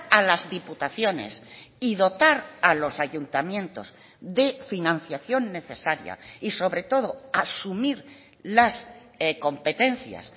a las diputaciones y dotar a los ayuntamientos de financiación necesaria y sobre todo asumir las competencias